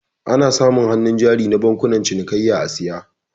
Ana samun hannu jari na bankunan cinikayya a saya